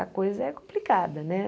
A coisa é complicada, né?